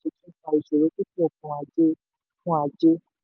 ọ̀kan ìṣòro púpọ̀ fún ajé. fún ajé.